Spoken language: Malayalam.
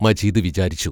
മജീദ് വിചാരിച്ചു.